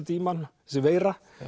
í mann þessi veira